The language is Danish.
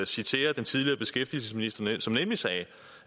citere den tidligere beskæftigelsesminister som nemlig sagde